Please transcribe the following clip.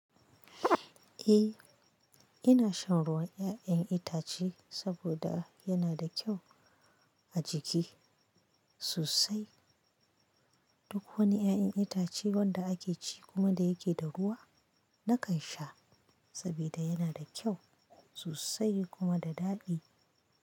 Eh ina shan ruwan ya'yan itace saboda yana da kyau a jiki sosai. Duk wani ya'yan itace wanda ake ci kuma da yake da ruwa nakan sha saboda yana da kyau sosai kuma da daɗi.